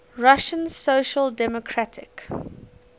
russian social democratic